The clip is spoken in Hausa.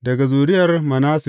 Daga zuriyar Manasse.